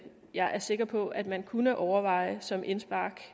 jeg er sikker på at man kunne overveje som indspark